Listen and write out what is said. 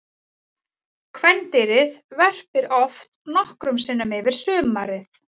Kvendýrið verpir oft nokkrum sinnum yfir sumarið.